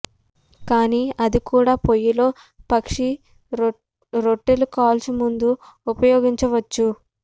కానీ అది కూడా పొయ్యి లో పక్షి రొట్టెలుకాల్చు ముందు ఉపయోగించవచ్చు